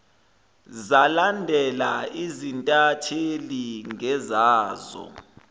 zalandela izintatheli ngezazo